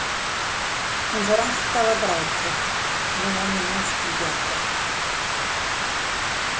Hún fór alltaf að gráta og það varð henni oft til bjargar.